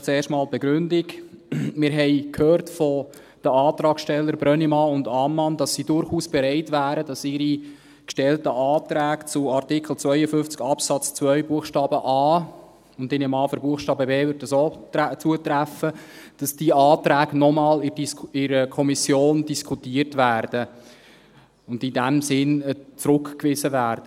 Vielleicht zuerst einmal die Begründung: Wir haben von den Antragstellern Brönnimann und Ammann gehört, dass sie durchaus bereit wären, dass die von ihnen gestellten Anträge zu Artikel 52 Absatz 2 Buchstabe a, und ich nehme an, für Buchstabe b trifft dies auch zu, noch einmal in der Kommission diskutiert werden und in dem Sinn zurückgewiesen werden.